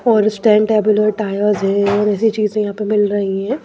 और स्टैंड टेबलर टायर्स हैं और ऐसी चीजें यहाँ पे मिल रही हैं।